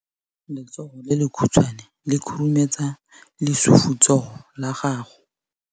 Letsogo le lekhutshwane le khurumetsa lesufutsogo la gago.